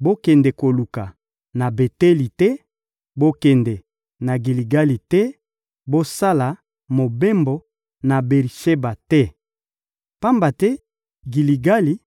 Bokende koluka na Beteli te, bokende na Giligali te, bosala mobembo na Beri-Sheba te. Pamba te Giligali